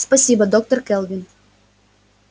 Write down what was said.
спасибо доктор кэлвин